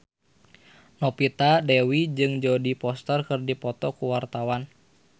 Novita Dewi jeung Jodie Foster keur dipoto ku wartawan